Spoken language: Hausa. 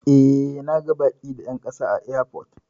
E, na ga baki da 'yan kasa a airport.